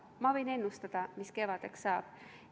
Ma võin ennustada, mis kevadeks saab.